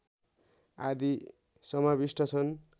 आदि समाविष्ट छन्